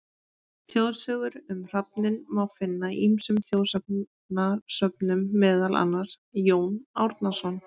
Þjóðsögur um hrafninn má finna í ýmsum þjóðsagnasöfnum, meðal annars: Jón Árnason.